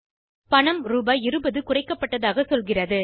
பணம் ரூபாய் 20 குறைக்கப்பட்டதாக சொல்கிறது